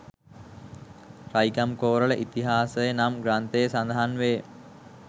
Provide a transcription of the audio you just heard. රයිගම්කෝරළ ඉතිහාසය නම් ග්‍රන්ථයේ සඳහන් වේ